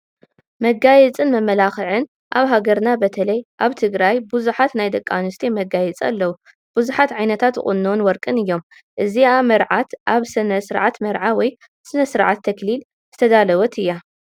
መጋየፅን መመላኽዕን፡- ኣብ ሃገርና ብተለይ ኣብ ትግራይ ብዙሓት ናይ ደቂ ኣንስትዮ መጋየፂ ኣለው፡፡ ብዙሓት ዓ/ታት ቁኖን ወርቅን እዮም፡፡ እዚኣ መርዓት ኣብ ስርዓተ መርዓ ወይ ንስርዓተ ተኽሊል ዝተዳለወት እያ፡፡